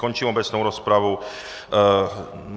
Končím obecnou rozpravu.